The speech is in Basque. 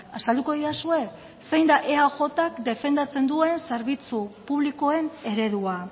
azalduko didazue zein da eajk defendatzen duen zerbitzu publikoen eredua